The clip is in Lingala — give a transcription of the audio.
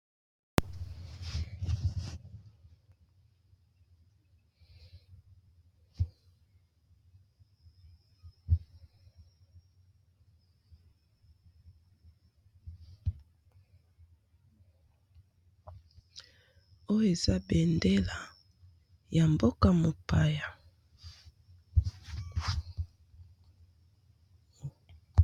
oyo eza bendela ya mboka mopaya